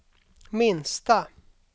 minsta